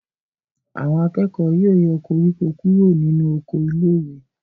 Àwọn akẹ́kọ̀ọ́ ó yọ koríko kúrò nínú oko iléèwé